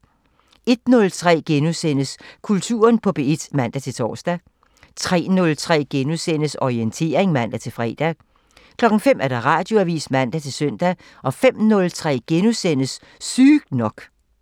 01:03: Kulturen på P1 *(man-tor) 03:03: Orientering *(man-fre) 05:00: Radioavisen (man-søn) 05:03: Sygt nok *(man)